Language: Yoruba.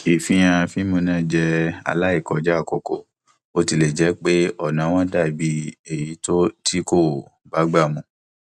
ìfihàn fíìmù náà jẹ aláìkọjá àkókò bó tilẹ jẹ pé ọnà wọn dà bí èyí tó kò bágbà mu